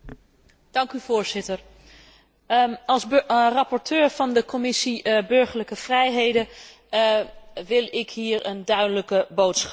Voorzitter, als rapporteur van de Commissie burgerlijke vrijheden wil ik hier een duidelijke boodschap brengen.